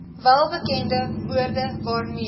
welbekende woorde waarmee